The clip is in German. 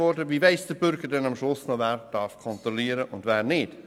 Wie weiss der Bürger dann noch, wer überhaupt kontrollieren darf und wer nicht?